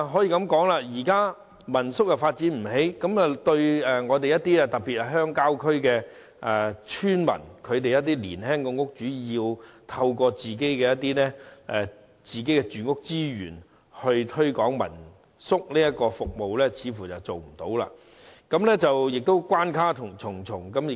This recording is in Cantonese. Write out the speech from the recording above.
由於民宿的發展毫無寸進，鄉郊村民，特別是一些年輕戶主想利用自己擁有的房屋資源推廣民宿服務，根本並不可能，同時亦關卡重重。